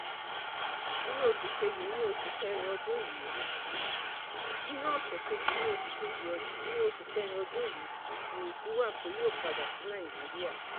inú ọ̀sẹ̀ kejì nínú oṣù kẹrin ọdún yìí nìrètí wà pé yóò padà sí nàìjíríà